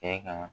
Kɛ ka